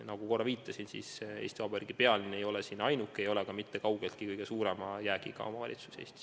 Nagu ma juba viitasin: Eesti Vabariigi pealinn ei ole ainuke ja kaugeltki kõige suurema jäägiga omavalitsus Eestis.